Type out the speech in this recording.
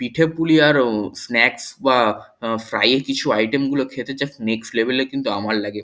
পিঠেপুলি আর অ স্নাক্স বা উম ফ্রাই -এর কিছু আইটেম গুলো খেতে জাস্ট নেক্সট লেভেল এর কিন্তু আমার লাগে।